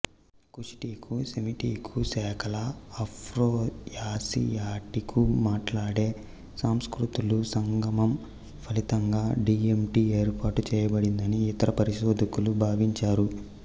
కుషిటికు సెమిటికు శాఖల ఆఫ్రోయాసియాటికుమాట్లాడే సంస్కృతుల సంగమం ఫలితంగా డీఎంటి ఏర్పాటు చేయబడిందని ఇతర పరిశోధకులు భావిస్తారు